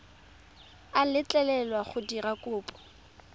a letlelelwa go dira kopo